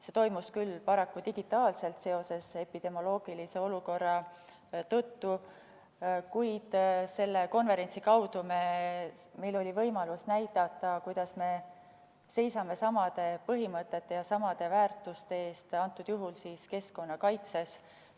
See toimus küll paraku digitaalselt epidemioloogilise olukorra tõttu, kuid selle konverentsi kaudu oli meil võimalus näidata, kuidas me seisame samade põhimõtete ja samade väärtuste eest, antud juhul keskkonnakaitses.